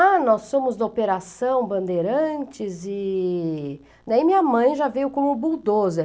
Ah, nós somos da Operação Bandeirantes e... Daí minha mãe já veio com o